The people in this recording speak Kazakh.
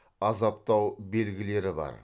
азаптау белгілері бар